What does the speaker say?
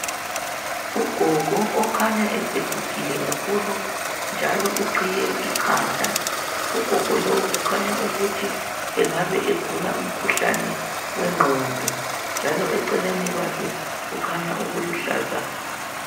Ugogo okhanya esegugile kakhulu njalo uqhiye ikhanda ugogo lo kukhanya ukuthi engabe egula umkhuhlane wengqondo njalo eceleni kwakhe kukhanya okuluhlaza.